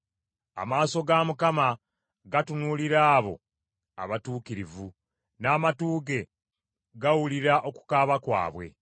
Amaaso ga Mukama gatunuulira abo abatuukirivu, n’amatu ge gawulira okukaaba kwabwe.